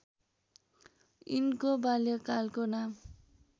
यिनको बाल्यकालको नाम